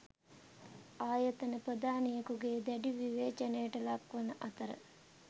ආයතන ප්‍රධානියකුගේ දැඩි විවේචනයට ලක්වන අතර